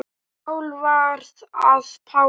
Og Sál varð að Páli.